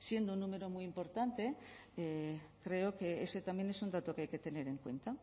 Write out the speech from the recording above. siendo un número muy importante creo que ese también es un dato que hay que tener en cuenta